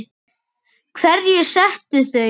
Hverjir settu þau?